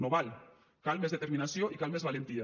no val cal més determinació i cal més valentia